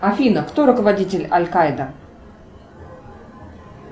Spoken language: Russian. афина кто руководитель аль каида